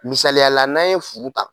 Misayala n'an ye furu ta